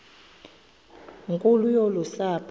nkulu yolu sapho